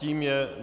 Tím je